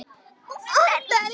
Það heillar mig bara.